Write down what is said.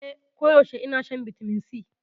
Eh, koyaushe ina shan Vitamin C.